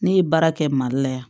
Ne ye baara kɛ mali la yan